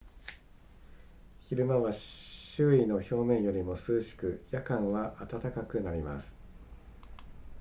昼間は周囲の表面よりも涼しく夜間は暖かくなります